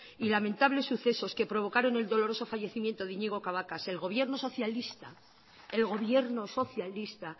y lamentables sucesos que provocaron el doloroso fallecimiento de iñigo cabacas el gobierno socialista